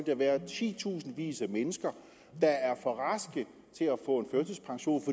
der være titusindvis af mennesker der er for raske til at få en førtidspension